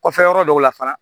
Kɔfɛ yɔrɔ dɔw la fana